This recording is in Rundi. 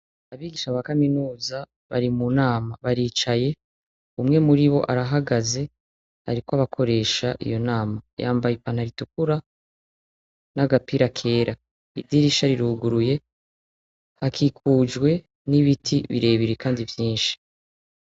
Abigisha ba kaminuza bari munama, baricaye, umwe muribo arahagaze, arikw’abakoresha iyo nama. Yambaye ipantaro itukura n’agapira kera, idirisha riruguruye, hakikujwe nibiti birebire Kandi vyinshi.